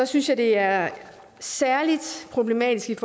synes det er særlig problematisk